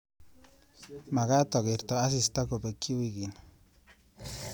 Magaat agerte asista kobeki wiikini